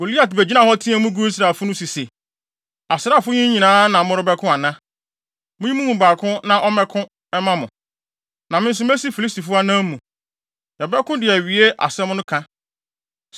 Goliat begyinaa hɔ teɛɛ mu guu Israelfo no so se, “Asraafo yi nyinaa na morebɛko ana? Munyi mo mu baako na ɔmmɛko mma mo, na me nso mesi Filistifo anan mu. Yɛbɛko de awie asɛm no ka!